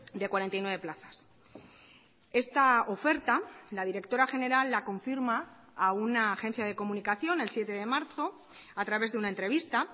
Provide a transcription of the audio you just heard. de cuarenta y nueve plazas esta oferta la directora general la confirma a una agencia de comunicación el siete de marzo a través de una entrevista